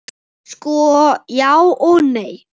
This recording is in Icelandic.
Sko, já og nei.